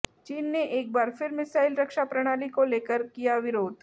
चीन ने एक बार फिर मिसाइल रक्षा प्रणाली को लेकर किया विरोध